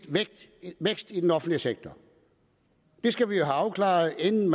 vækst i den offentlige sektor det skal vi jo have afklaret inden